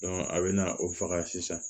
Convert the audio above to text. a bɛ na o faga sisan